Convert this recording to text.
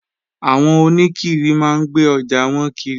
Àwọn oníkiri máa ń gbé ọjà wọn kiri